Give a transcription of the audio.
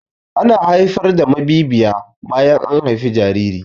Ana haifar da mabiyiya bayan an haifi jariri.